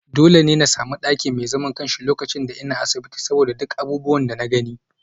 Dole ne in sami daki mai zaman kansa lokacin da nake asibiti saboda duk abubuwan da na gani